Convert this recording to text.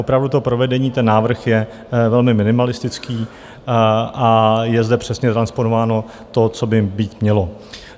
Opravdu to provedení, ten návrh je velmi minimalistický a je zde přesně transponováno to, co by být mělo.